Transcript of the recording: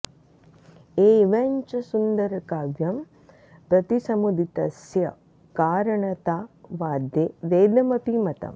एवञ्च सुन्दरकाव्यं प्रति समुदितस्य कारणता वाद्ये वेदमपि मतम्